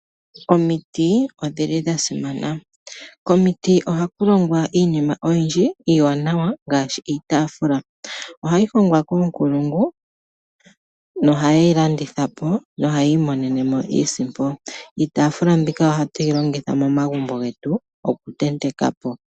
Omiti odhili dhasimana. Komiti ohakulongwa iinima oyindji iiwanawa ngaashi, iitaafula. Ohayi hongwa koonkulungu na ohayeyi landitha po na ohayiimonenemo iisimpo. Iitaafula mbika ohatuyi longitha momagumbo getu okutentekapo.